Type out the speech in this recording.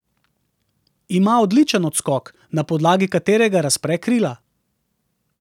Ima odličen odskok, na podlagi katerega razpre krila.